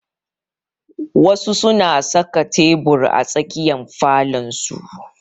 Wasu su na saka tebur a tsakiyar falon su